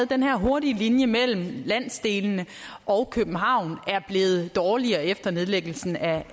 den her hurtige linje mellem landsdelene og københavn er blevet dårligere efter nedlæggelsen af